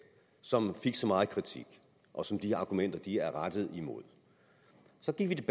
som fik så meget kritik og som de argumenter er rettet imod så gik